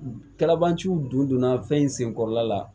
Kalabanciw donna fɛn in sen kɔrɔla la